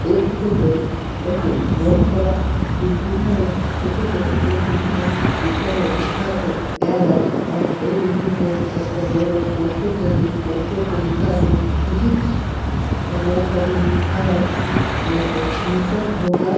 এই ফটো টয় এক বড় করা বিল্ডিং এর ফটো বটে। জন বিল্ডিং টোর উপরে লিখা আছে এল. এস. আর ওই বিল্ডিং টোর একটা বড় বড় পোস্টার নিয়ে একজন পোস্টার টায় লেখা আছে ফিজিক্স আর ও সাইড এ লিখা আছে টিউশন হোগা।